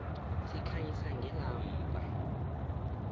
sikhanyisa ngelamba